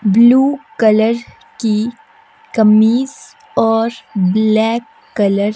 blue colour की कमीज और ब्लैक कलर --